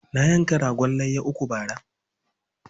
Na yanka ragon layya uku bara.